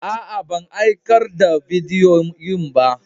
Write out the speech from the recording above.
Aa, ban aikar da bidiyoyin ba.